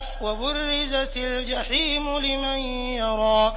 وَبُرِّزَتِ الْجَحِيمُ لِمَن يَرَىٰ